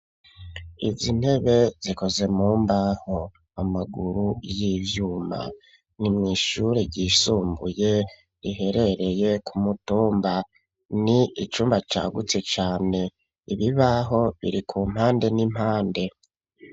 Izi ntebe zikoze mumbaho, amaguru y'ivyuma, nimw'ishure ryisumbuye riherereye kumutumba, n'icumba cagutse cane, ibibaho biri ku mpande n'impande.